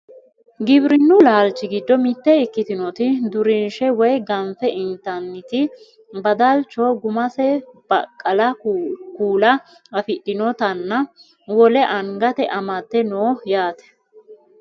Giwirinnu laalchi giddo mitte ikkitinoti durunshe woye ganfe intanniti badalcho gummase baqqala kuula afidhinotanna wole angate amadde no yaate .